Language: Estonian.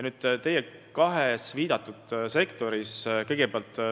Te viitasite kahele sektorile.